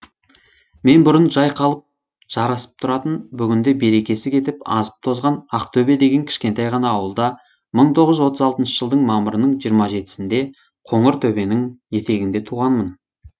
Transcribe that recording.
мен бұрын жайқалып жарасып тұратын бүгінде берекесі кетіп азып тозған ақтөбе деген кішкентай ғана ауылда мың тоғыз жүз отыз алтыншы жылдың мамырының жиырма жетісінде қоңыртөбенің етегінде туғанмын